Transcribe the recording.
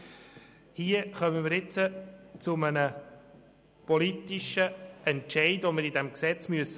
Wir müssen nun einen politischen Entscheid fällen: